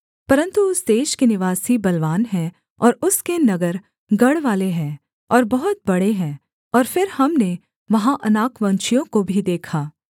परन्तु उस देश के निवासी बलवान हैं और उसके नगर गढ़वाले हैं और बहुत बड़े हैं और फिर हमने वहाँ अनाकवंशियों को भी देखा